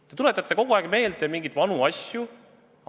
Te tuletate kogu aeg meelde mingeid vanu asju.